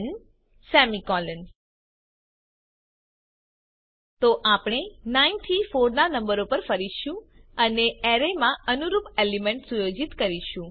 ન તો આપણે 9 થી 4 ના નંબરો પર ફરીશું અને એરેમાં અનુરૂપ એલિમેન્ટ સુયોજિત કરીશું